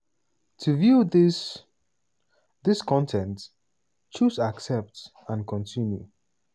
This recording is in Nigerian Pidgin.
to view dis dis con ten t choose 'accept and continue'.